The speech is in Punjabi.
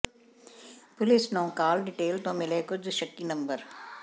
ਪੁਲਿਸ ਨੰੂ ਕਾਲ ਡਿਟੇਲ ਤੋਂ ਮਿਲੇ ਕੁਝ ਸ਼ੱਕੀ ਨੰਬਰ